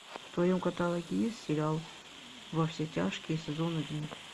в твоем каталоге есть сериал во все тяжкие сезон один